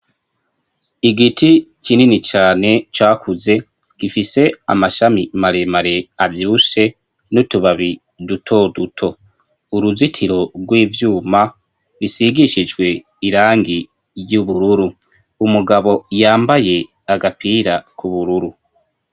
Igiti kinini cane cakuze. Gifise amashami maremare avyibushe n'utubabi duto duto. Uruzitiro rw'ivyuma bisigishijwe irangi ry'ubururu, umugabo yambaye agapira k'ubururu.